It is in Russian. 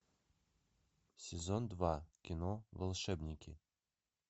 сезон два кино волшебники